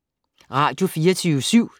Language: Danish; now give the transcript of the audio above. Radio24syv